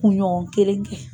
U ɲɔgɔn kelen kɛ